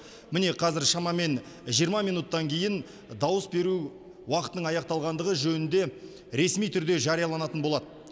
міне қазір шамамен жиырма минуттан кейін дауыс беру уақытының аяқталғандығы жөнінде ресми түрде жарияланатын болады